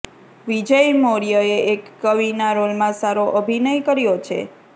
વિજય મૌર્યએ એક કવિના રોલમા સારો અભિનય કર્યો છે